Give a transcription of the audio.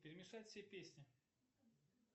перемешать все песни